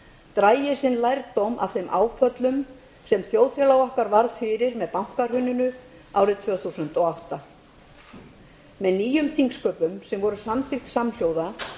dragi sinn lærdóm af þeim áföllum sem þjóðfélag okkar varð fyrir með bankahruninu árið tvö þúsund og átta með nýjum þingsköpum sem voru samþykkt samhljóða